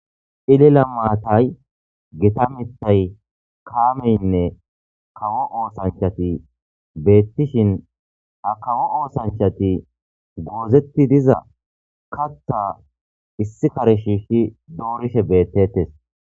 Cilila maatay gita miththay kaameynne kawo oosanchati beettishin ha kawo oosanchati goozetti diza katha issi kare shiishi doorishe beettetes